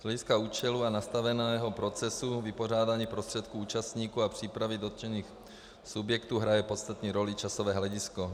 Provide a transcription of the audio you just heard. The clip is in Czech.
Z hlediska účelu a nastaveného procesu vypořádání prostředků účastníků a přípravy dotčených subjektů hraje podstatnou roli časové hledisko.